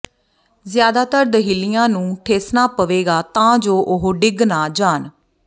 ਜ਼ਿਆਦਾਤਰ ਦਹਿਲੀਆਂ ਨੂੰ ਠੇਸਣਾ ਪਵੇਗਾ ਤਾਂ ਜੋ ਉਹ ਡਿੱਗ ਨਾ ਜਾਣ